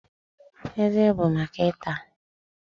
Eze bụ maka ịta